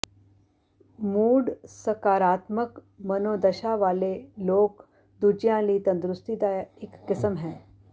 mood ਸਕਾਰਾਤਮਕ ਮਨੋਦਸ਼ਾ ਵਾਲੇ ਲੋਕ ਦੂਜਿਆਂ ਲਈ ਤੰਦਰੁਸਤੀ ਦਾ ਇਕ ਕਿਸਮ ਹੈ